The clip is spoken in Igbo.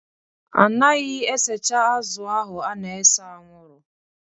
A naghị esecha azụ̀ ahụ a na-ese anwụrụ